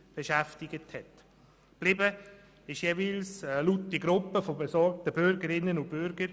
Übrig geblieben ist jeweils eine laute Gruppe besorgter Bürgerinnen und Bürger.